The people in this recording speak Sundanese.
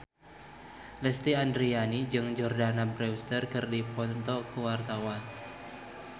Lesti Andryani jeung Jordana Brewster keur dipoto ku wartawan